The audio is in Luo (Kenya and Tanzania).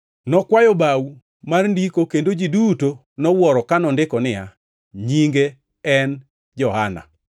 Nokwayo bao mar ndiko kendo ji duto nowuoro ka nondiko niya, “Nyinge en Johana.”